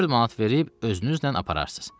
Dörd manat verib özünüzlə apararsız.